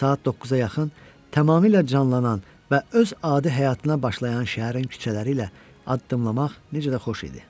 Saat 9-a yaxın tamamilə canlanan və öz adi həyatına başlayan şəhərin küçələri ilə addımlamaq necə də xoş idi.